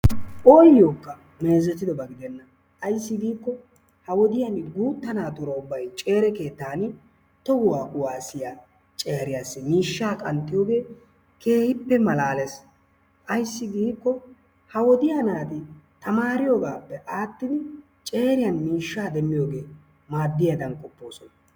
oyokka meezettidaba gidena ayssi giiko ha wodiya guutta naatuura ubbay ceere keettan tohuwa kuwassiya ceeriyassi miishsha qanxxiyooge keehippe malaalees. ayssi giiko ha wodiya naati tamaariyoogappe attidi ceeriyan miishsha demmiyoogee maaddiyaadan qopoosona.